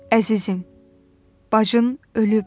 Əzizim, bacın ölüb.